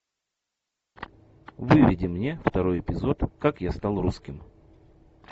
выведи мне второй эпизод как я стал русским